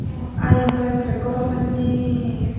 aa iyen daw ekkerey goro sannen.